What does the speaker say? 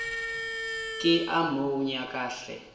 ke a mo nyaka hle